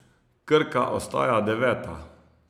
Krka ostaja deveta.